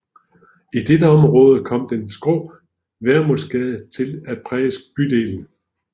I dette område kom den skrå Vermundsgade til at præge bydelen